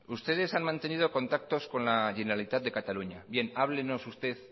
ustedes han mantenido contactos con la generalitat de catalunya bien háblenos usted